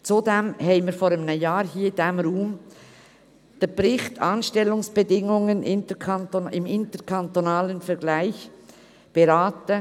Zudem haben wir vor einem Jahr hier im Ratssaal den Bericht «Anstellungsbedingungen [der Lehrkräfte] im interkantonalen Vergleich» beraten.